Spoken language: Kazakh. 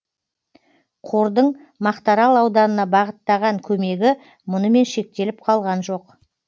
қордың мақтаарал ауданына бағыттаған көмегі мұнымен шектеліп қалған жоқ